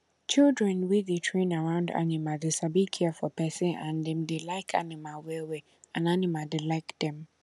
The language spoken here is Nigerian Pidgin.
children wey dey train around animal dey sabi care for pesin and dem dey like animal well well and animal dey like dem